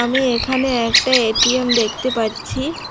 আমি এখানে একটা এ_টি_এম দেখতে পাচ্ছি।